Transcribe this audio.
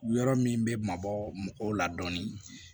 Yɔrɔ min bɛ mabɔ mɔgɔw la dɔɔnin